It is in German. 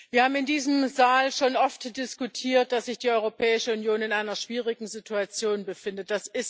Wir haben in diesem Saal schon oft diskutiert, dass sich die Europäische Union in einer schwierigen Situation befindet.